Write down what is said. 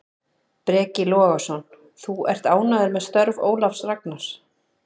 Breki Logason: Þú ert ánægður með störf Ólafs Ragnars?